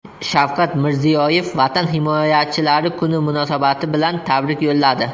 Shavkat Mirziyoyev Vatan himoyachilari kuni munosabati bilan tabrik yo‘lladi .